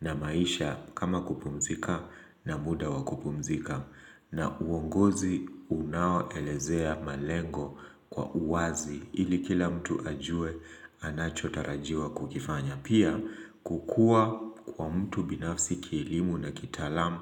na maisha kama kupumzika na muda wa kupumzika na uongozi unao elezea malengo kwa uwazi ili kila mtu ajue anacho tarajiwa kukifanya. Pia kukua kwa mtu binafsi kielimu na kitaalam